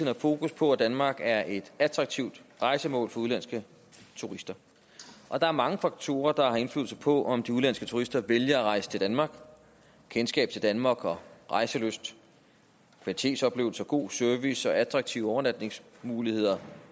har fokus på at danmark er et attraktivt rejsemål for udenlandske turister og der er mange faktorer der har indflydelse på om de udenlandske turister vælger at rejse til danmark kendskab til danmark rejselyst kvalitetsoplevelser god service og attraktive overnatningsmuligheder